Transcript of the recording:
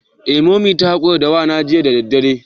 Eh Mummy na hakura da wena jiya da daddare.